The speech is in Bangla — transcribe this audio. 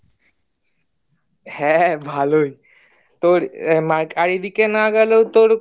হ্যাঁ ভালোই তোর marketing এইদিকে না গেলেও তোর